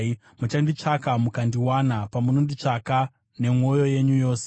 Muchanditsvaka mukandiwana, pamunonditsvaka nemwoyo yenyu yose.